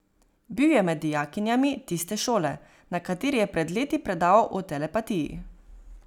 Bil je med dijakinjami tiste šole, na kateri je pred leti predaval o telepatiji.